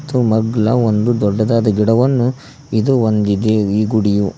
ತ್ತು ಮಗ್ಲ ಒಂದು ದೊಡ್ಡದಾದ ಗಿಡವನ್ನು ಇದು ಹೊಂದಿದೆ ಈ ಗುಡಿಯು--